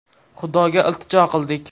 Xudoga iltijo qildik.